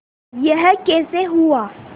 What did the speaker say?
यह कैसे हुआ